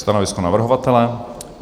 Stanovisko navrhovatele?